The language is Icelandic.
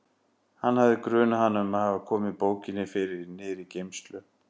Hann hafði grunað hana um að hafa komið bókinni fyrir niðri í geymslu.